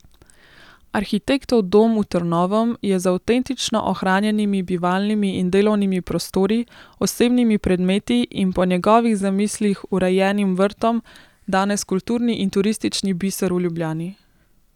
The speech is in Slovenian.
Arhitektov dom v Trnovem je z avtentično ohranjenimi bivalnimi in delovnimi prostori, osebnimi predmeti in po njegovih zamislih urejenim vrtom danes kulturni in turistični biser v Ljubljani.